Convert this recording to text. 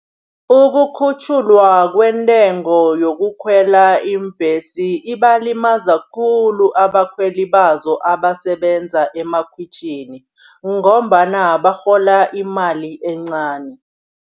Ukukhutjhulwa kwentengo yokukhwela iimbhesi ibalimaza khulu, abakhweli bazo abasebenza emakhitjhini ngombana barhola imali encani.